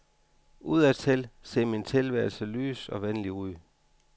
Udadtil ser min tilværelse lys og venlig ud.